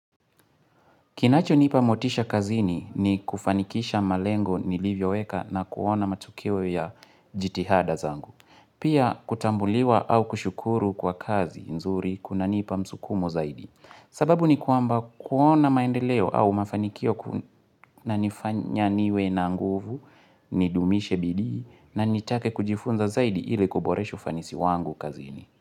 Kinacho nipa motisha kazini ni kufanikisha malengo niliyoweka na kuona matokeo ya jitihada zangu. Pia kutambuliwa au kushukuru kwa kazi nzuri kunanipa msukumo zaidi. Sababu ni kwamba kuona maendeleo au mafanikio kunanifanya niwe na nguvu, nidumishe bidii na nitake kujifunza zaidi ili kuboresha ufanisi wangu kazini.